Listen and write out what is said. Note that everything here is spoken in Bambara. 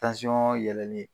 yɛlɛlen